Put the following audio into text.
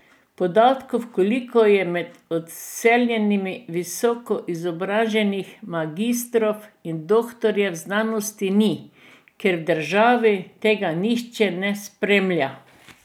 Podatkov, koliko je med odseljenimi visokoizobraženih, magistrov in doktorjev znanosti ni, ker v državi tega nihče ne spremlja.